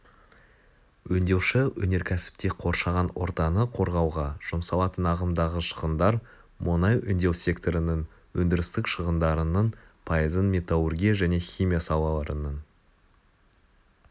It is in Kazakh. өңдеуші өнеркәсіпте қоршаған ортаны қорғауға жұмсалатын ағымдағы шығындар мұнай өңдеу секторының өндірістік шығындарының пайызын металлургия және химия салаларының